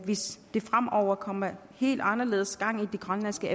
hvis der fremover kommer helt anderledes gang i de grønlandske